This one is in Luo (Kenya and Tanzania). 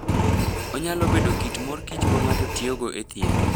Onyalo bedo kit mor kich ma ng'ato tiyogo e thieth.